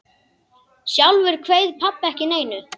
Sjálfur kveið pabbi ekki neinu.